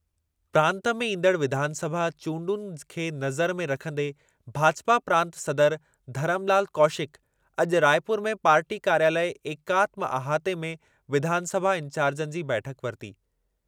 प्रांतु में ईंदड़ु विधानसभा चूंडुनि खे नज़र में रखंदे भाजपा प्रांत सदर धरमलाल कौशिक अॼु रायपुर में पार्टी कार्यालयु एकात्म अहाते में विधानसभा इंचार्जनि जी बैठकु वरिती।